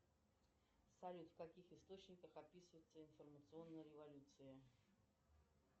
салют в каких источниках описывается информационная революция